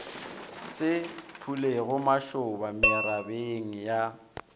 se phulego mašoba merabeng ya